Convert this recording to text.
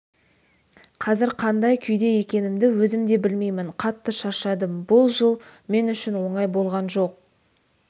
қазір қандай күйде екенімді өзім де білмеймін қатты шаршадым бұл жыл мен үшін оңай болған жоқ